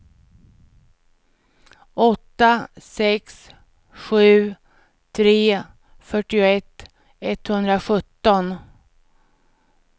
åtta sex sju tre fyrtioett etthundrasjutton